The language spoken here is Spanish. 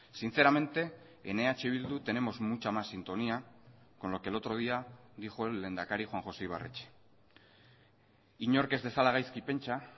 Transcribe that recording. sinceramente en eh bildu tenemos mucha más sintonía con lo que el otro día dijo el lehendakari juan josé ibarretxe inork ez dezala gaizki pentsa